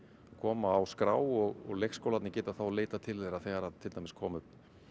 koma á skrá og leikskólarnir geta þá leitað til þeirra þegar til dæmis koma upp